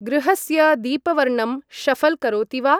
गृहस्य दीपवर्णं शऴल् करोति वा ?